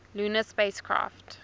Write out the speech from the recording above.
lunar spacecraft